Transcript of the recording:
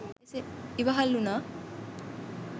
ඉවහල් වුණා.